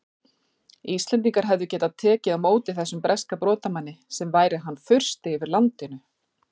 Íslendingar hefðu tekið á móti þessum breska brotamanni sem væri hann fursti yfir landinu!